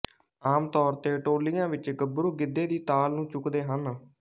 ਆਮ ਤੌਰ ਤੇ ਟੋਲੀਆਂ ਵਿੱਚ ਗੱਭਰੂ ਗਿੱਧੇ ਦੀ ਤਾਲ ਨੂੰ ਚੁੱਕਦੇ ਹਨ